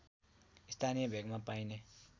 स्थानीय भेगमा पाइने